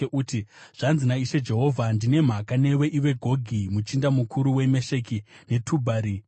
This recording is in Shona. uti, ‘Zvanzi naIshe Jehovha: Ndine mhaka newe, iwe Gogi muchinda mukuru weMesheki neTubhari.